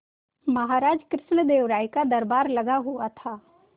महाराज कृष्णदेव राय का दरबार लगा हुआ था